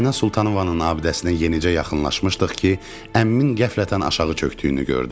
Ayna Sultanovanın abidəsinə yenicə yaxınlaşmışdıq ki, əmmimin qəflətən aşağı çökdüyünü gördüm.